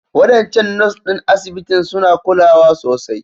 Waɗancan Nurse ɗin asibitin suna kulawa sosai